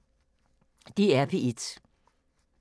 DR P1